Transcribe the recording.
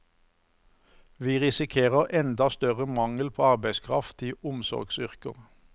Vi risikerer enda større mangel på arbeidskraft i omsorgsyrker.